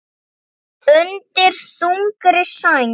Undir þungri sæng